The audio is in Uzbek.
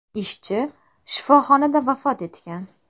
Ishchi shifoxonada vafot etgan.